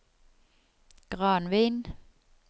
Granvin